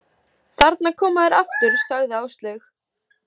Þarna koma þeir aftur, sagði Áslaug.